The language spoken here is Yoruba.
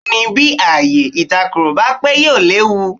Bẹ́ẹ̀ ni, bí ààyè ìtakùrọ̀ bá pé yóò léwu.